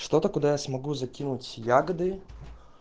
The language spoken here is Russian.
что то куда я смогу закинуть ягоды